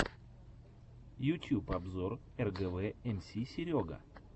ютюб обзор эргэвэ эмси серега